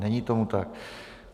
Není tomu tak.